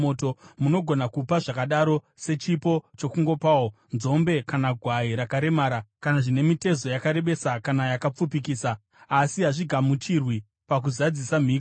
Munogona kupa zvakadaro sechipo chokungopawo, nzombe kana gwai rakaremera kana zvine mitezo yakarebesa kana yakapfupikisa, asi hazvigamuchirwi pakuzadzisa mhiko.